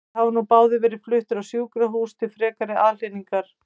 Þeir hafa nú báðir verið fluttir á sjúkrahús til frekari aðhlynningar.